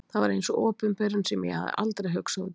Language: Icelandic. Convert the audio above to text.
Það var eins og opinberun sem ég hafði aldrei hugsað út í.